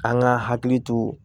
An ka hakili to